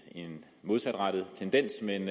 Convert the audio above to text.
en modsatrettet tendens men